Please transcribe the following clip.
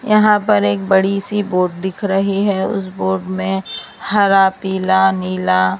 यहां पर एक बड़ी सी बोर्ड दिख रही हैं उस बोर्ड में हरा पीला नीला--